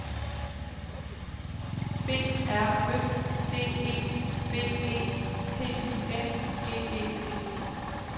B R Ø D E B E T Y N G E T